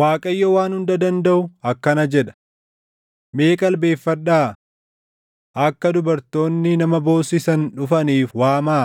Waaqayyo Waan Hunda Dandaʼu akkana jedha: “Mee qalbeeffadhaa! Akka dubartoonni nama boossisan dhufaniif waamaa;